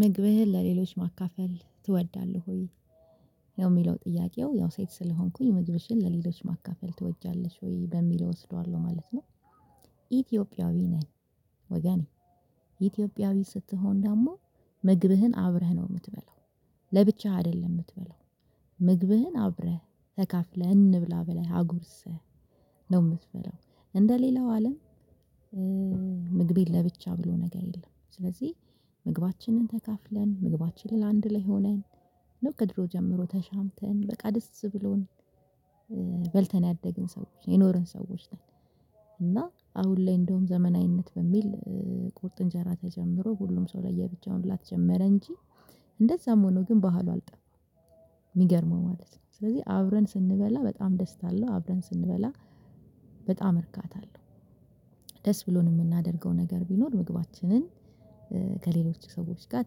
ምግብህን ለሌሎች ማካፈል ትወዳለህ? ወይ ነው የሚለው ጥያቄው ያው ሴት ስለሆንኩኝ ምግብሽን ለሌሎች ማካፈል ትወጃለሽ ወይ በሚለው እወስደዋለሁ ማለት ነው። ኢትዮጵያዊ ነኝ። ወገኔ ኢትዮጵያዊ ስትሆን ደግሞ ምግብህን አብረህ ነው የምትበላው። ለብቻህ አይደለም የምትበላው። ምግብህን አብረህ ተካፍለህ እንብላ ብለህ አጉርስህ ነው የምትበላው እንደ ሌላው አለም። ምግቤን ለብቻ ብሎ ነገር የለም። ስለዚህ ምግባችንን ተካፍለን ምግባችንን አንድ ላይ ሆነን ነው ከድሮ ጀምሮ ተሻምተን በቃ ደስ ብሎን በልተን ያደግን ሰዎች የኖርን ሰዎች ነን። እና አሁን ላይ እንደውም ዘመናዊነት በሚል ቁርጥ እንጀራ ተጀምሮ ሁሉም ሰው ለየብቻ መብላት ጀመረ እንጂ እንደዛም ሆኖ ግን ባህሉ አልጠፋም። የሚገርመው ማለት ነው ስለዚህ አብረን ስንበላ በጣም ደስታ አለው አብረን ስንበላ በጣም እርካታ አለው። ደስ ብሎን የምናደርገው ነገር ቢኖር ምግባችንን ከሌሎች ሰዎች ጋር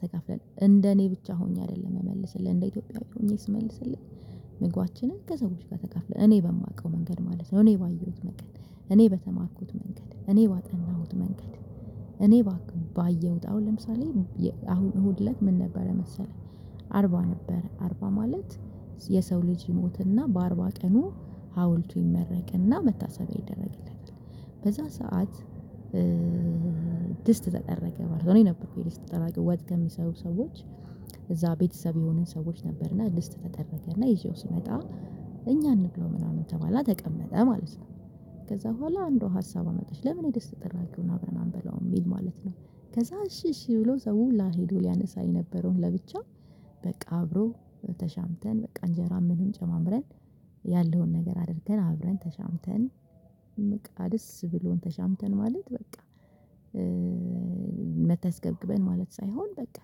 ተከፍለን እንደኔ እኔ ብቻ ሆኜ አይደለም እምመልስልህ። እንደ ኢትዮጵያዊት ሆኜ ስመልስልህ ምግባችንን ከሰዎች ጋር ተካፍለን እኔ በማውቀው መንገድ ማለት ነው እኔ ባየሁት መንገድ እኔ በተማርኩት መንገድ እኔ ባጠናሁት መንገድ እኔ ባየሁት አሁን ለምሳሌ አሁን እሁድ እለት ምን ነበረ መሰለህ? አርባ ነበር አርባ ማለት የሰው ልጅ ሞትና በአርባ ቀኑ ሀውልቱ ይመረቅና መታሰቢያ ይደረግለታል በዛ ሰዓት። ድስት ተጠረገ ማለት ነው። እኔ ነበርኩኝ ደስት ጠራጊው ወጥ ከሚሰሩ ሰዎች እዛ ቤተሰብ የሆኑን ሰዎች ነበርና ድስት ተጠረገና ይዤው ስመጣ። እኛ አንብለው ምናምን ተባለ ተቀመጠ ማለት ነው። ከዛ በኋላ አንዷ ሀሳብ አመጣች ለምን የደስት ጥራጊውን አብረን አንበለውም የሚል ማለት ነው። ከዛ እሺ እሺ ብሎ ሰው ሁላ ሄዶ ሊያነሳ የነበረውን ለብቻ። በቃ አብሮ ተሻምተን በቃ እንጀራ ምንም ጨማምረን ያለውን ነገር አድርገን አብረን ተሻምተን። በቃ ደስ ብሎን ተሻምተን ማለት በቃ። መተስገብግበን ማለት ሳይሆን በቃ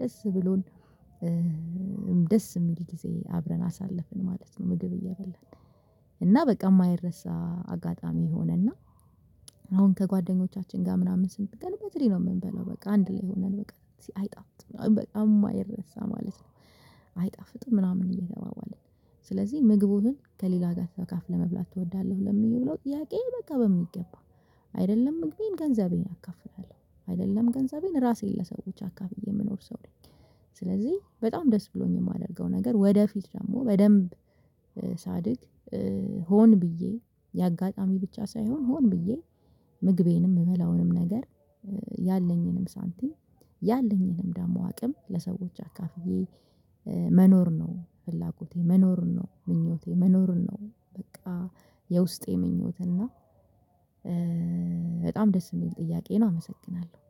ደስ ብሎን። ደስ የሚል ጊዜ አብረን አሳለፍን ማለት ነው። ምግብ እየበላን እና በቃ የማይረሳ አጋጣሚ የሆነና። አሁን ከጓደኞቻችን ጋር ምናምን ስንቀርብ በትሪ ነው የምንበለው በቃ አንድ ላይ ሆነን በቃ አይጣፍጥም በቃ የማይረሳ ማለት ነው። አይጣፍጥም ምናምን እየተባባልን ስለዚህ ምግቡህን ከሌላ ጋር ተከፋለህ ለመብላት ትወዳለህ? ለሚለው ጥያቄ በቃ በሚገባ አይደለም ምግቤን ገንዘቤን አካፍላለሁ አይደለም ገንዘቤን ራሴን ለሰዎች አካፍዬ የምኖር ሰው ነኝ። ስለዚህ በጣም ደስ ብሎኝ የማደርገው ነገር ወደፊት ደግሞ በደንብ ሳድግ። ሆን ብዬ የአጋጣሚ ብቻ ሳይሆን ሆን ብዬ። ምግቤንም የምበላውንም ነገር ያለኝንም ሳንቲም ያለኝንም ደግሞ አቅም ለሰዎች አካፍዬ መኖር ነው። ፍላጎቴ መኖር ነው። ምኞቴ መኖር ነው። በቃ የውስጤ ምኞት እና። በጣም ደስ የሚል ጥያቄ ነው አመሰግናለሁ።